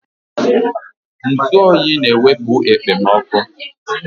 Ntụ oyi na-ewepu okpomoọkụ